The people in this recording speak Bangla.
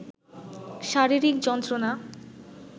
শারীরিক যন্ত্রণা